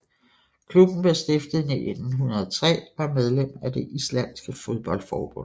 Klubben blev stiftet i 1903 og er medlem af det islandske fodboldforbund